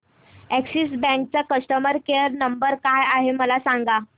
Axis bank चा customer care number काय आहे मला सांगा